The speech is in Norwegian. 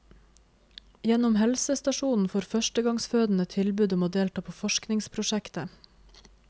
Gjennom helsestasjonen får førstegangsfødende tilbud om å delta på forskningsprosjektet.